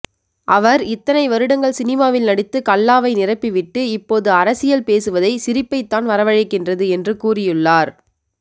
அவர் இத்தனை வருடங்கள் சினிமாவில் நடித்து கல்லாவை நிரப்பிவிட்டு இப்போது அரசியல் பேசுவதை சிரிப்பைத்தான் வரவழைக்கின்றது என்று கூறியுள்ளார்